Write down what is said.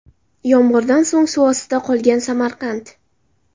Yomg‘irdan so‘ng suv ostida qolgan Samarqand.